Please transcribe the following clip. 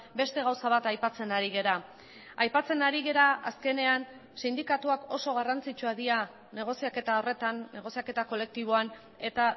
beste gauza bat aipatzen ari gara aipatzen ari gara azkenean sindikatuak oso garrantzitsuak dira negoziaketa horretan negoziaketa kolektiboan eta